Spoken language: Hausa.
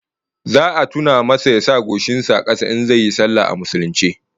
Za a tuna masa ya sa goshin sa a kasa in zai yi sallah a musulunce